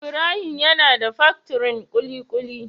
Ibrahim him yana da paktirin kulikuli.